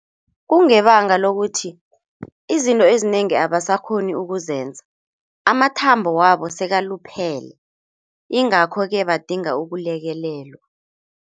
Kungebanga lokuthi izinto ezinengi abasakghoni ukuzenza, amathambo wabo sekaluphele ingakho-ke badinga ukulekelelwa.